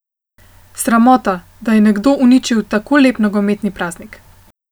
Sramota, da je nekdo uničil tako lep nogometni praznik.